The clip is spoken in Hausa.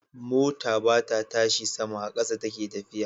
Mota bata tashi sama,a ƙasa take tafiya